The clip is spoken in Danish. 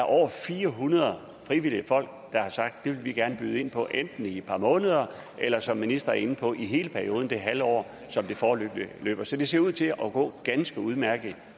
over fire hundrede frivillige folk der har sagt at de gerne byde ind på enten et par måneder eller som ministeren er inde på hele perioden altså det halve år som det foreløbig løber så det ser ud til at gå ganske udmærket